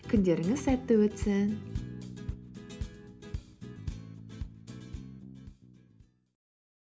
күндеріңіз сәтті өтсін